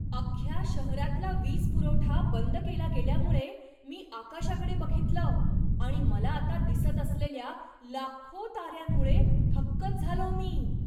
अख्ख्या शहरातला वीजपुरवठा बंद केला गेल्यामुळे मी आकाशाकडे बघितलं आणि मला आता दिसत असलेल्या लाखो ताऱ्यांमुळे थक्कच झालो मी!